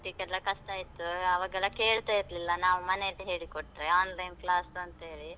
ಓದ್ಲಿಕೆಲ್ಲ ಕಷ್ಟ ಆಯ್ತು, ಅವಾಗೆಲ್ಲ ಕೇಳ್ತ ಇರ್ಲಿಲ್ಲ, ನಾವು ಮನೆಯಲ್ಲಿ ಹೇಳಿ ಕೊಟ್ರೆ, online class ಅಂತ ಹೇಳಿ.